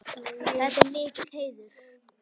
Þetta er mikill heiður.